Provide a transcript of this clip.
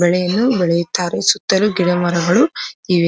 ಬೆಳೆಯನ್ನು ಬೆಳೆಯುತ್ತಾರೆ ಸುತ್ತಲು ಗಿಡಮರಗಳು ಇವೆ.